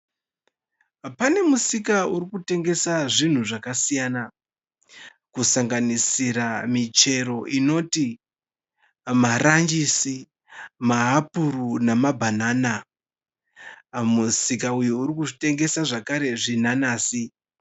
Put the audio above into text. Pane musika uri kutengesa zvinhu zvakasiyana, kusanganisira michero inoti maranjisi, mahapuru nemabhanana. Musika uyu uri kutengesa zvakare zvinanazi.